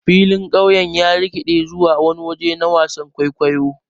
Filin ƙauyen ya rikiɗe zuwa wani waje na wasan kwaikwayo.